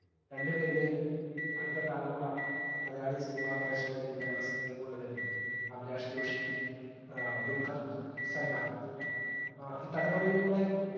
രണ്ടുപേരുടെയും അടുത്ത തലമുറ മലയാളി cinema പ്രേഷകരിലേക്ക് ഞങ്ങടെ cinema യും കൊണ്ട് വരുന്നത് അഭിലാഷ്‌ ജോഷിയും ഏർ ദുൽഖർ സല്‍മാനും ഏർ ഈ തലമുറയിലൂടെ